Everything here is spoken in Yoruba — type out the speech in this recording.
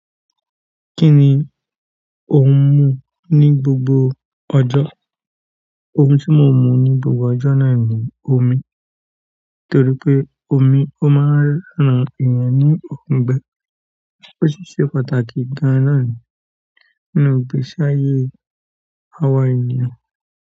Kí ni ò ń mú ní gbogbo ọjọ́? Ohun tí mò ń mu ní gbogbo ọjọ́ náà ni omi, torí pé omi ó máa ń ran ènìyàn ní ọ̀gbẹ́, ó sì ṣe pàtàkì gan-an nàá nínú ìgbésíayé àwa ènìyàn.